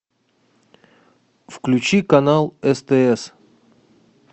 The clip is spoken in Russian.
включи канал стс